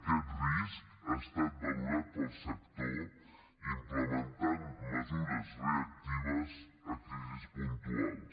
aquest risc ha estat valorat pel sector implementant mesures reactives a crisis puntuals